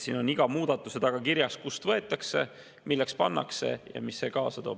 Siin on iga muudatuse taga kirjas, kust raha võetakse, milleks pannakse ja mis see kaasa toob.